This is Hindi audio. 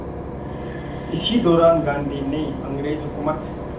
इसी दौरान गांधी ने अंग्रेज़ हुकूमत